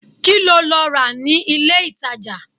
Kíló lọ rà ní ilé-ìtàjà?